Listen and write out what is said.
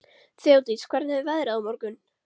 Þeódís, hvernig er veðrið á morgun?